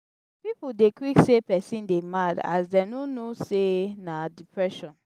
pipu dey quick say pesin dey mad as dem no know sey na depression.